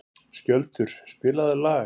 Skjöldur, spilaðu lag.